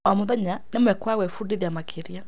O mũthenya nĩ mweke wa gwĩbundithia makĩria.